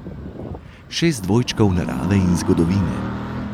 Šest dvojčkov narave in zgodovine.